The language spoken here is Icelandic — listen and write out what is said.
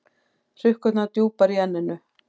Hrukkurnar djúpar í enninu.